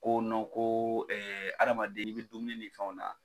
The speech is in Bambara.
Ko ko adamaden n'i bɛ dumuni ni fɛnw na